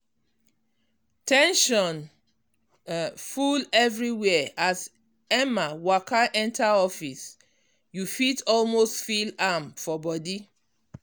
ten sion um full everywhere as emma waka enter office you fit almost feel am for body.